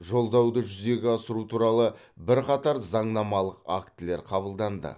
жолдауды жүзеге асыру туралы бірқатар заңнамалық актілер қабылданды